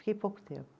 Fiquei pouco tempo.